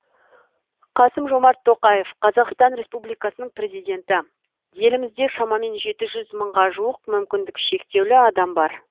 қасым жомарт тоқаев қазақстан республикасының президенті елімізде шамамен жеті жүз мыңға жуық мүмкіндік шектеулі адам бар